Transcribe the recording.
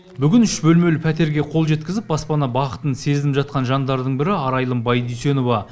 бүгін үш бөлмелі пәтерге қол жеткізіп баспана бақытын сезініп жатқан жандардың бірі арайлым байдүйсенова